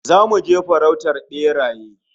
Zamu je farautar beraye